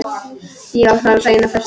Já, svarar Sæunn af festu.